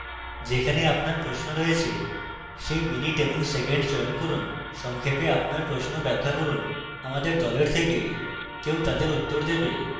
যেখানে আপনার প্রশ্ন রয়েছে সেই minute এবং second চয়ন করুন সংক্ষেপে আপনার প্রশ্ন ব্যাখ্যা করুন আমাদের দল থেকে কেউ তাদের উত্তর দেবে